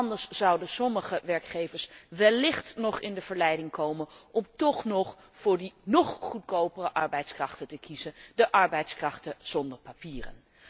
Want anders zouden sommige werkgevers wellicht nog in de verleiding komen om toch nog voor die nog goedkopere arbeidskrachten te kiezen, de arbeidskrachten zonder papieren.